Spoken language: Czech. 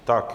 Tak.